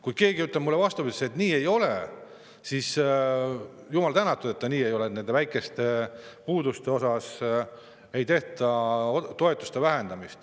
Kui keegi ütleb mulle vastupidist, et nii ei ole, siis jumal tänatud, kui see nii ei ole, et nende väikeste puuduste eest ei vähendata toetusi.